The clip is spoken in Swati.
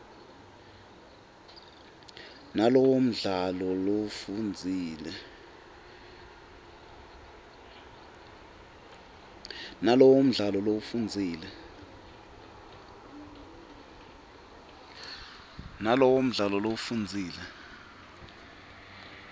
nalowo mdlalo lowufundzile